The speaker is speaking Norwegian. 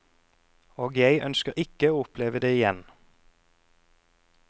Og jeg ønsker ikke å oppleve det igjen.